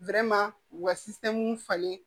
u ka falen